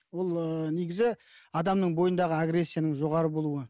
ол ыыы негізі адамның бойындағы агрессияның жоғары болуы